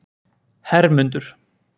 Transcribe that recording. Hermundur